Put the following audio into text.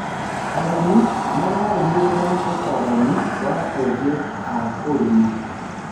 arĩmi mararumirira utaranĩ wa ogi a ũrĩmi